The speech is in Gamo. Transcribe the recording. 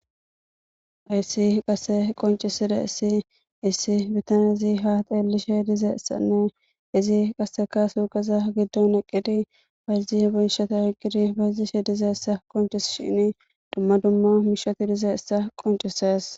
Hayssi qasse qonccisizayssi issi bittanezi ha xeelishe dizayssanne izi qasse suuqeza giddon eqiddi bayzaya miisha oyqidi bayzishe dizayssa qonccisees.